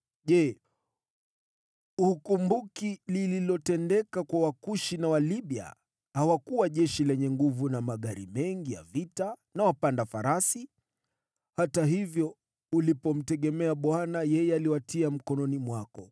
Je, hukumbuki lililotendeka kwa Wakushi na Walibia, hawakuwa jeshi lenye nguvu na magari mengi ya vita na wapanda farasi? Hata hivyo, ulipomtegemea Bwana yeye aliwatia mkononi mwako.